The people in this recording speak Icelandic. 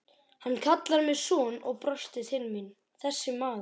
Hann kallar mig son og brosir til mín þessi maður.